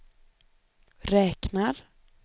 räknar